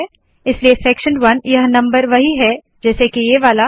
इसलिए सेक्शन 1 यह नम्बर वही है जैसे के ये वाला